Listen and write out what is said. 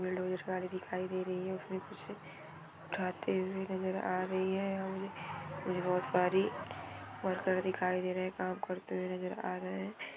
Bulldozer गाड़ी दिखाई दे रही है| उसमे कुछ उठाते हुए नजर आ रही है और ये बहुत सारी वर्कर दिखाई दे रहे है काम करते हुए नजर आ रहे है।